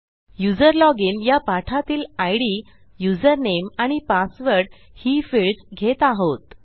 user login या पाठातील इद युझरनेम आणि पासवर्ड ही फिल्डस घेत आहोत